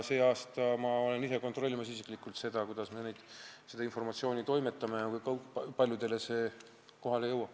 See aasta ma ise kontrollin seda, kuidas me seda informatsiooni inimestele kätte toimetame ja kui paljudele see kohale jõuab.